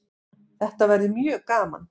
Þetta verður mjög gaman